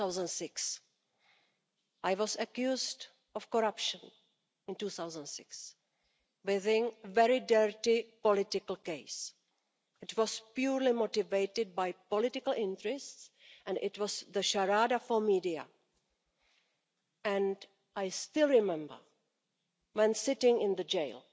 2006. I was accused of corruption in 2006, with a very dirty political case. It was purely motivated by political interests and it was a charade for the media, and I still remember that when sitting in the jail,